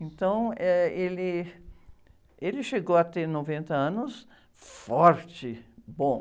Então, eh, ele chegou a ter noventa anos forte, bom.